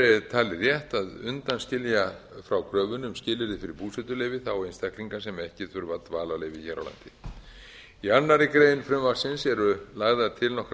er talið rétt að undanskilja frá kröfunni um skilyrði fyrir búsetuleyfi þá einstaklinga sem ekki þurfa dvalarleyfi hér á landi í annarri grein frumvarpsins eru lagðar til nokkrar